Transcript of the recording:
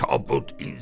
Kabut insan!